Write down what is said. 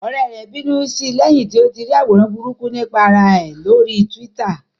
Ọ̀rẹ́ rẹ̀ bínú sí lẹ́yìn tí ó rí àwòrán burúkú nípa ara ẹ̀ lórí Twitter